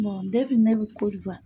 Mɔn depi ne bɛ